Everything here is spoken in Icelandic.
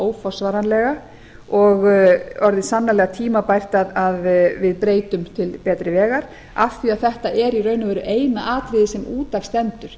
óforsvaranlega og orðið sannarlega tímabært að við breytum til betri vegar af því að þetta er í raun og veru eina atriðið sem út af stendur